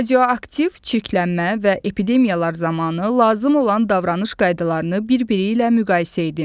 Radioaktiv çirklənmə və epidemiyalar zamanı lazım olan davranış qaydalarını bir-biri ilə müqayisə edin.